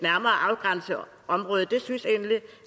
og det